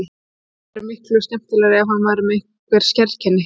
Og svo væri miklu skemmtilegra ef hann væri með einhver sérkenni.